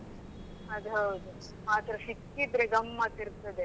ಅದು ಹೌದು ಮಾತ್ರ ಸಿಕ್ಕಿದ್ರೆ ಗಮ್ಮತ್ ಇರ್ತದೆ.